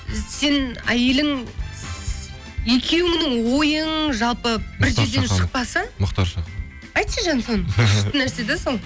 сен әйелің екеуіңнің ойың жалпы бір жерден шықпаса мұхтар шаханов айтшы жаным соны күшті нәрсе де сол